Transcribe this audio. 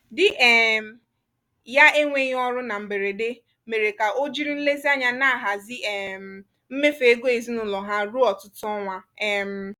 di um ya enwghi ọrụ na mberede mere ka o jiri nlezianya na-ahazi um mmefu ego ezinụlọ ha ruo ọtụtụ ọnwa. um